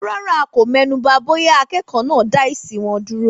Rárá, a kò mẹ́nuba bóyá akẹ́kọ̀ọ́ náà dá èsì wọn dúró.